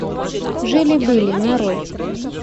жили были нарой